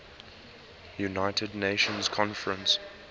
united nations conference